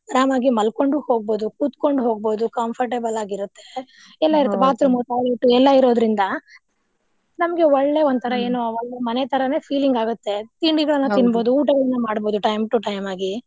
ಅರಾಮಾಗಿ ಮಲ್ಕೊಂಡು ಹೋಗ್ಬಹುದು, ಕುತ್ಕೊಂಡು ಹೋಗ್ಬಹುದು comfortable ಆಗಿರುತ್ತೆ bathroom, toilet ಉ ಎಲ್ಲಾ ಇರೋದ್ರಿಂದ ನಮ್ಗೆ ಒಳ್ಳೇ ಒಂತರಾ ಮನೆ ತರಾನೆ feeling ಆಗತ್ತೆ. ತಿನ್ಬಹುದು ಊಟವನ್ನು ಮಾಡ್ಬಹುದು time to time ಆಗಿ.